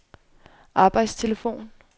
arbejdstelefon